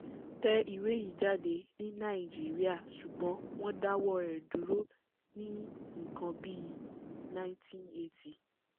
tẹ ìwé yìí jáde ní nàìjíríà ṣùgbọ́n wọ́n dáwọ́ ẹ̀ dúró ní nǹkan bí i 1980